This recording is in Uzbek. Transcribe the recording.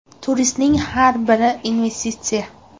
Turistning har biri investitsiya.